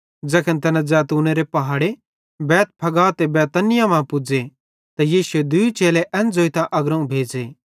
ज़ैखन तैना ज़ैतूनेरे पहाड़े बैतफगे ते बैतनिय्याह मां पुज़े त यीशुए दूई चेले एन ज़ोइतां अग्रोवं भेज़े